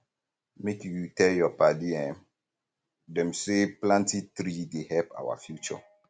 make you tell your padi um dem say planting tree um dey help our future